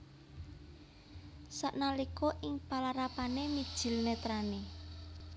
Sanalika ing palarapané mijil nètrané